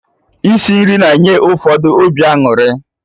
Isi nri na-enye ụfọdụ obi aṅụrị